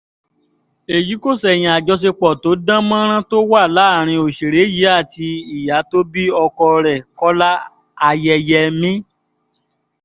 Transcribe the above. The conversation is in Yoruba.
èyí kò ṣẹ̀yìn àjọṣepọ̀ tó dán mọ́rán tó wà láàrin òṣèré yìí àti ìyá tó bí ọkọ rẹ̀ kọ́lá ayẹyẹmí